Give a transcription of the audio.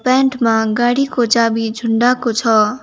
Pant मा गाडीको चाबी झुण्डाको छ।